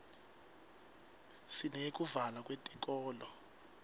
sineyekuvalwa kwetikolo